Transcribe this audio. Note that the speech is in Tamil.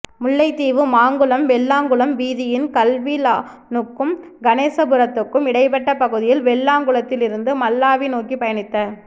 முல்லைத்தீவு மாங்குளம் வெள்ளாங்குளம் வீதியின் கல்விளானுக்கும் கணேச புரத்துக்கும் இடைப்பட்ட பகுதியில் வெள்ளாங்குளத்திலிருந்து மல்லாவி நோக்கிப் பயணித்த